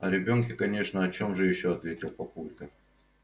о ребёнке конечно о чем же ещё ответил папулька